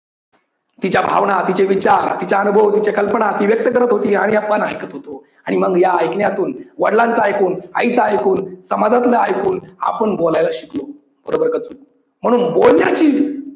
तिच्या भावना, तिचे विचार, तिचा अनुभव, तिचे कल्पना ती व्यक्त करत होती आणि आपण ऐकत होतो आणि मग या ऐकण्यातून वडिलांचा ऐकून, आईच ऐकून, समाजातलं ऐकून आपण बोलायला शिकलो. बरोबर का चूक. म्हणून बोलण्याची